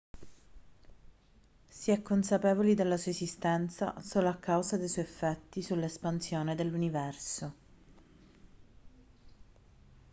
si è consapevoli della sua esistenza solo a causa dei suoi effetti sull'espansione dell'universo